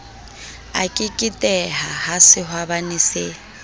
a keketehe ha sehwabane se